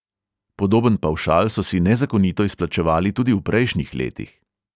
Podoben pavšal so si nezakonito izplačevali tudi v prejšnjih letih.